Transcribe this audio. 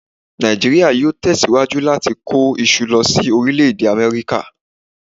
Nàìjíríà yóò tẹ̀síwájú láti kó iṣu lọ sí Orílẹ̀-Èdè Amẹ́ríkà